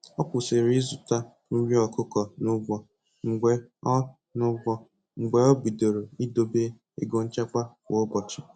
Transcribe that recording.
Ọ kwụsịrị ịzụta nri ọkụkọ n'ụgwọ mgbe o n'ụgwọ mgbe o bidoro ịdobe ego nchekwa kwa ụbochị